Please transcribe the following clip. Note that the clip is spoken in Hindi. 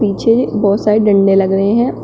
पीछे बहुत सारे डंडे लग रहे हैं।